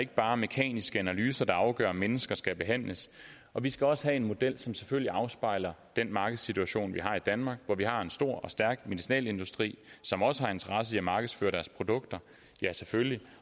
ikke bare mekaniske analyser der afgør om mennesker skal behandles og vi skal også have en model som selvfølgelig afspejler den markedssituation vi har i danmark hvor vi har en stor og stærk medicinalindustri som også har interesse i at markedsføre deres produkter ja selvfølgelig